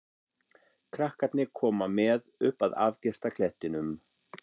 Krakkarnir koma með upp að afgirta klettinum.